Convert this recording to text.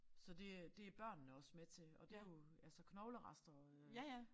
Så det øh det børnene også med til og det jo altså knoglerester øh